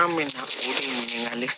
An bɛ na o de ɲininkali